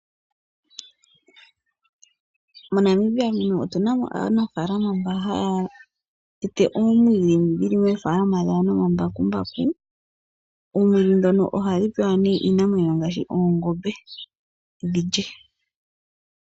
MoNamibia otu na mo aanafaalama mbo haa tete omwiidhi nomambakumbaku. Oomwiidhi ndhono ohadhi pewa iinamwenyo ngaashi oongombe opo dhi lye.